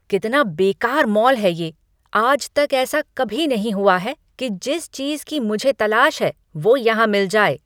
कितना बेकार मॉल है ये। आज तक ऐसा कभी नहीं हुआ है कि जिस चीज़ की मुझे तलाश है, वो यहाँ मिल जाए।